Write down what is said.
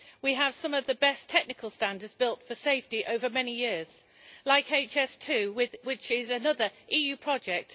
We have some of the best technical standards built for safety over many years, like HS 2, which is another EU project.